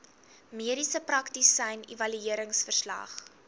mediese praktisyn evalueringsverslag